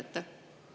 Aitäh!